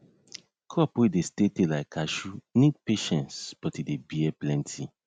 crop wey dey stay tay like cashew need patiece but e dey bear plenty